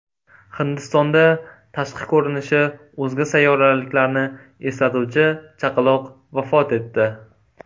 Hindistonda tashqi ko‘rinishi o‘zga sayyoraliklarni eslatuvchi chaqaloq vafot etdi.